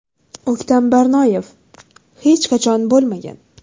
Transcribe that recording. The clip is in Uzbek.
O‘ktam Barnoyev: Hech qachon bo‘lmagan.